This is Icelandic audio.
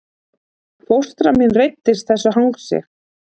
Fóstra mín reiddist þessu hangsi